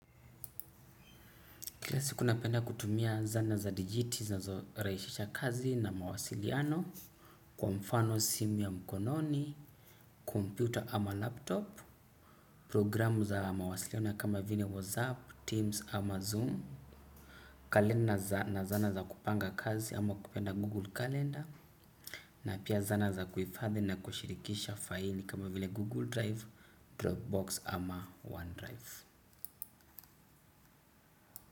Kila siku napenda kutumia zanaa za digiti zinazo rahisisha kazi na mawasiliano, kwa mfano simu ya mkononi, computer ama laptop, programu za mawasiliono kama vile WhatsApp, Teams ama Zoom, calendar na zana za kupanga kazi ama ukipenda Google Calendar, na pia zana za kuhifadhi na kushirikisha faili kama vile Google Drive, Dropbox ama OneDrive.